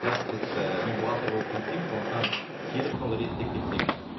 бірақ біз і мен бухгалтер болып жұмыс істеймін сондықтан келіп сол реттеп кетсеңіз